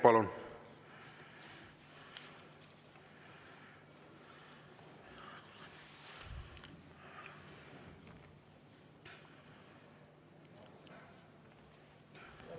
Palun!